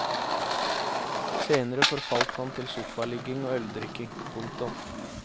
Senere forfalt han til sofaligging og øldrikking. punktum